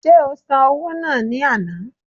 Ṣé o san owó náà ní àná?